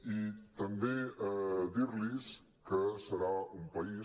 i també dir·los que serà un país